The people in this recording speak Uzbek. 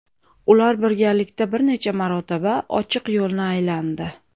Ular birgalikda bir necha marotaba ochiq yo‘lni aylandi.